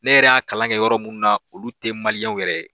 Ne yɛrɛ y'a kalan kɛ yɔrɔ minnu na olu tɛ maliyɛnw yɛrɛ ye